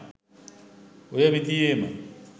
ඔය විදියේ ම